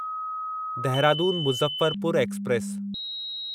Dehradun Muzaffarpur express